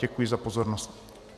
Děkuji za pozornost.